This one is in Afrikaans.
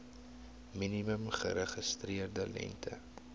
minimum geregistreerde lengte